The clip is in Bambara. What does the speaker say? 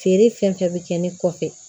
Feere fɛn fɛn bɛ kɛ ne kɔfɛ